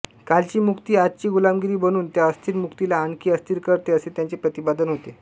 कालची मुक्ती आजची गुलामगिरी बनून त्या अस्थिर मुक्तीला आणखी अस्थिर करते असे त्यांचे प्रतिपादन होते